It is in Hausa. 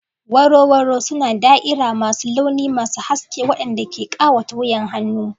Waro waro suna da'ira masu launi masu haske waɗanda ke ƙawata wuyan hannu.